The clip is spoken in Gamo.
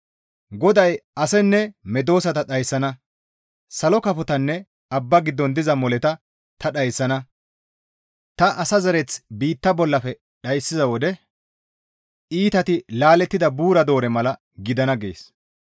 GODAY, «Asenne medosata dhayssana; salo kafotanne abba giddon diza moleta ta dhayssana; ta asa zereth biitta bollafe dhayssiza wode iitati laalettida buura doore mala gidana» gees.